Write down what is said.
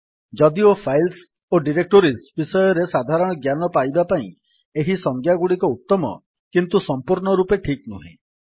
ଯଦିଓ ଫାଇଲ୍ସ ଓ ଡିରେକ୍ଟୋରୀସ୍ ବିଷୟରେ ସାଧାରଣ ଜ୍ଞାନ ପାଇବା ପାଇଁ ଏହି ସଜ୍ଞାଗୁଡିକ ଉତ୍ତମ କିନ୍ତୁ ସଂପୂର୍ଣ୍ଣ ରୂପେ ଠିକ୍ ନୁହେଁ